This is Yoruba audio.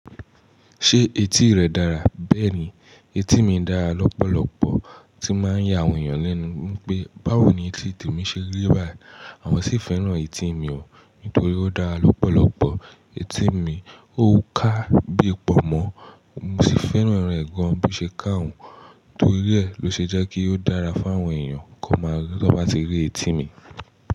Ṣé etí rẹ dára? Bẹ́ẹ̀ni, etí mi dára lọ́pọ̀lọ́pọ̀, tí máa ń ya àwọn èèyàn lẹ́nu pé, báwo ni etí temi ṣe rí báyìí? Àwọn sì fẹ́ràn etí mi o nítorí ó dára lọ́pọ̀lọ́pọ̀. Etí mi ò ká bíi pọ̀ mọ́, mo sì fẹ́ràn rẹ gàn bo ṣe ká òun torí ẹ lọ ṣe jẹ́ kí ó dára fún àwọn èèyàn kó máa tọ bá ti rí etí mi.